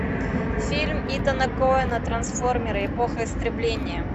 фильм итана коэна трансформера эпоха истрибления